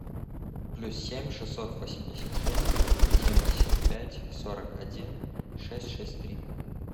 плюс семь шестьсот восемьдесят шесть семьдесят пять сорок один шесть шесть три